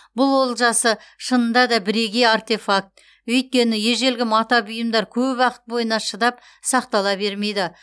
бұл олжасы шынында да бірегей артефакт өйткені ежелгі мата бұйымдар көп уақыт бойына шыдап сақтала бермейді